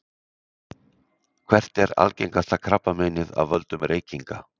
Hvert er algengasta krabbameinið af völdum reykinga?